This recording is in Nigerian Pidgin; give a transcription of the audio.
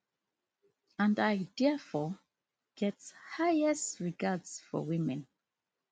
and i diafore get highest regards for women